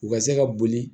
U ka se ka boli